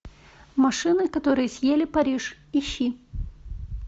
машины которые съели париж ищи